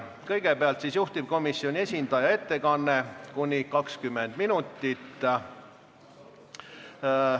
Kõigepealt on juhtivkomisjoni esindaja ettekanne, mis kestab kuni 20 minutit.